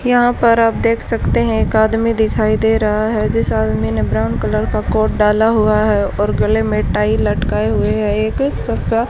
यहां पर आप देख सकते हैं एक आदमी दिखाई दे रहा है जिस आदमी ने ब्राउन कलर कोट डाला हुआ है और गले में टाई लटकाए हुए है एक सप--